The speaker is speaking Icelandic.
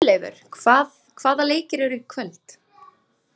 Guðleifur, hvaða leikir eru í kvöld?